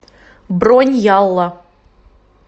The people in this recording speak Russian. бронь ялла